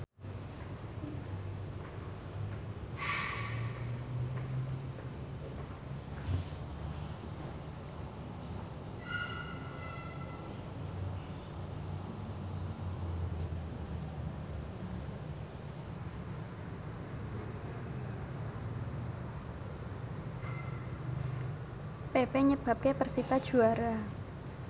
pepe nyebabke persita juara